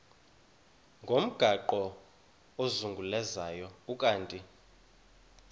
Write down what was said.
ngomgaqo ozungulezayo ukanti